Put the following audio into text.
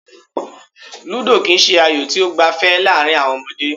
Ludo kì í se ayò tí ó gbafẹ́ láàrin àwọn ọmọdé.